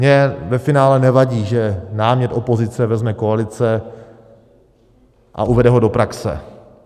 Mně ve finále nevadí, že námět opozice vezme koalice a uvede ho do praxe.